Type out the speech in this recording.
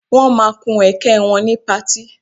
Wọ́n ma kun ẹ̀kẹ́ wọn ni pati